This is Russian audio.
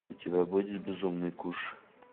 у тебя будет безумный куш